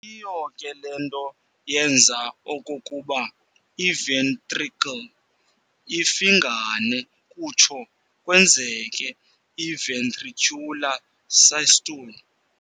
Yiyo ke lento yenza okokuba i-ventricle ifingane kuthso kwenzeke i-ventricular systole.